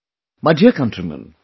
My dear countrymen,